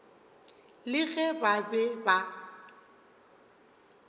le ge ba be ba